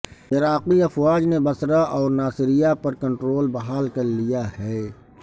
عراقی افواج نےب بصرہ اور ناصریا پر کنٹرول بحال کر لیا ہے